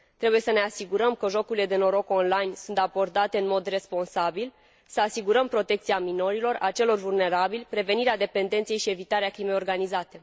Trebuie să ne asigurăm că jocurile de noroc on line sunt abordate în mod responsabil, să asigurăm protecția minorilor și a celor vulnerabili, să prevenim dependența și să evităm crima organizată